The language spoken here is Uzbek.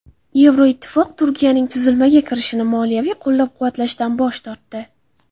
Yevroittifoq Turkiyaning tuzilmaga kirishini moliyaviy qo‘llab-quvvatlashdan bosh tortdi.